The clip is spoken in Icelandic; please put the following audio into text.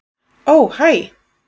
Ó hæ.